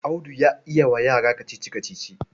Audu yan yi wa yara kacici-kacici.